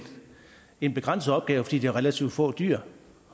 en begrænset opgave fordi det er relativt få dyr